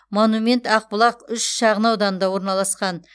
монумент ақбұлақ үш шағын ауданында орналасқан